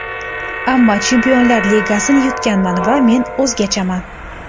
Ammo Chempionlar Ligasini yutganman va men o‘zgachaman.